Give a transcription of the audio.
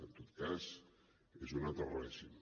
en tot cas és un altre règim